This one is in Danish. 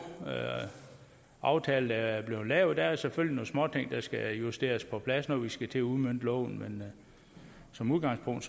aftale der er blevet lavet der er selvfølgelig lidt småting der skal justeres på plads når vi skal til at udmønte loven men som udgangspunkt